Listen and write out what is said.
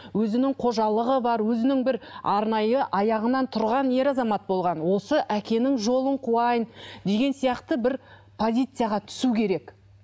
өзінің қожалығы бар өзінің бір арнайы аяғынан тұрған ер азамат болған осы әкенің жолын қуайын деген сияқты бір позицияға түсу керек